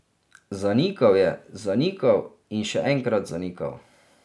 Zanikal je, zanikal in še enkrat zanikal.